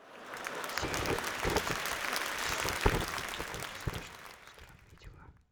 серия тридцать сезон три мультик осень страшные странные дела